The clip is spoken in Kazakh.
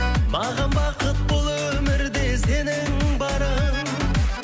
маған бақыт бұл өмірде сенің барың